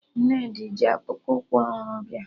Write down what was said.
Nnedi ji akpụkpụ ụkwụ ọhụrụ bịa